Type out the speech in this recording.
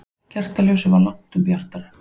Kertaljósið var langtum bjartara.